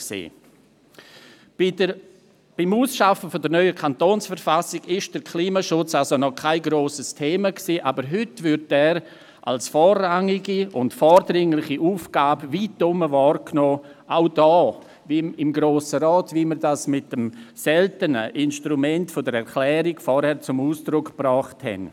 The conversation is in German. Bei der Ausarbeitung der neuen Kantonsverfassung war der Klimaschutz somit noch kein grosses Thema, aber heute wird er als vorrangige und vordringliche Aufgabe weitherum wahrgenommen, auch hier im Grossen Rat, wie wir dies mit dem selten verwendeten Instrument der Erklärung vorhin zum Ausdruck gebracht haben.